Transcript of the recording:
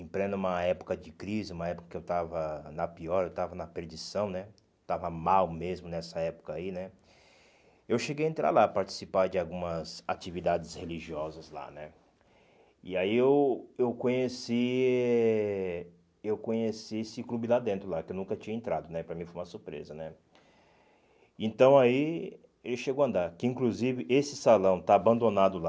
em pleno uma época de crise uma época que eu estava na pior estava na perdição né estava mal mesmo nessa época aí né eu cheguei entrar lá participar de algumas atividades religiosas lá né e aí eu eu conheci eh eu conheci esse clube lá dentro lá que eu nunca tinha entrado né para mim foi uma surpresa né então aí ele chegou a andar que inclusive esse salão está abandonado lá